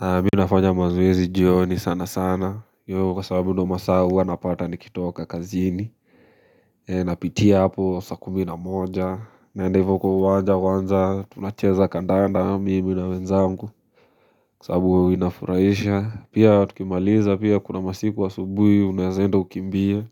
Mimi nafanya mazoezi jioni sana sana hiyo kwa sababu ndo masaa huwa napata nikitoka kazini Napitia hapo sakumi na moja naenda hivo kwa uwanja kwanza tunacheza kandanda mimi na wenzangu Kwa sababu huwina furaisha Pia tukimaliza pia kuna masiku wa aubuhi unaweenda ukimbie